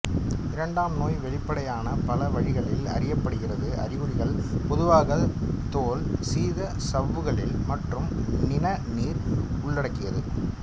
இரண்டாம் நோய் வெளிப்படையான பல வழிகளில் அறியப்படுகிறது அறிகுறிகள் பொதுவாக தோல் சீத சவ்வுகளில் மற்றும் நிணநீர் உள்ளடக்கியது